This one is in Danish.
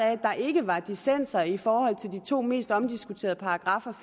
at der ikke var dissenser i forhold til de to mest omdiskuterede paragraffer